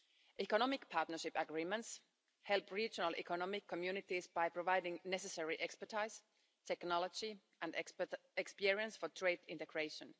Economic partnership agreements help regional economic communities by providing necessary expertise, technology and experience for trade integration.